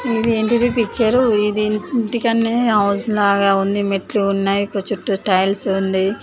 ఇది ఏంటిది పిక్చర్ ఇది ఇంటికాడనే హౌస్ లాగా ఉంది మెట్లు ఉన్నాయి చుట్టూ టైల్స్ ఉండి --